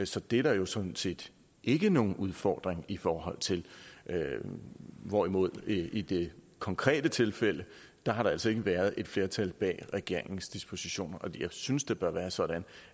så det er der jo sådan set ikke nogen udfordring i forhold til hvorimod der i det konkrete tilfælde altså ikke har været et flertal bag regeringens dispositioner og jeg synes det bør være sådan